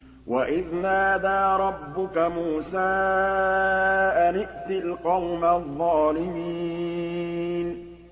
وَإِذْ نَادَىٰ رَبُّكَ مُوسَىٰ أَنِ ائْتِ الْقَوْمَ الظَّالِمِينَ